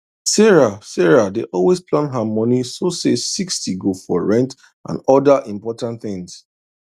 sarah sarah dey always plan her money so say 60 go for rent and other important things